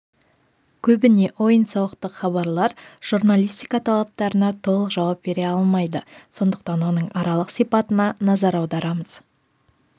көбіне ойын-сауықтық хабарлар журналистика талаптарына толық жауап бере алмайды сондықтан оның аралық сипатына назар аударамыз